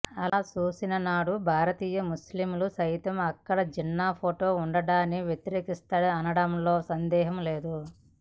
అలా చూసిన నాడు భారతీయ ముస్లింలు సైతం అక్కడ జిన్నా ఫోటో ఉండడాన్ని వ్యతిరేకిస్తారనడంలో సందేహం లేదు